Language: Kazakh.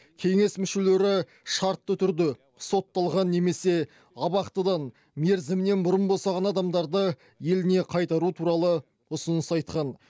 кеңес мүшелері шартты түрде сотталған немесе абақтыдан мерзімінен бұрын босаған адамдарды еліне қайтару туралы ұсыныс айтқан